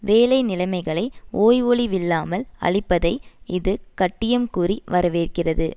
வேலை நிலைமைகளை ஓய்வொழிவில்லாமல் அழிப்பதை இது கட்டியம் கூறி வரவேற்கிறது